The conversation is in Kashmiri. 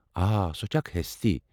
آ ، سُہ چھےٚ اکھ ہستی ۔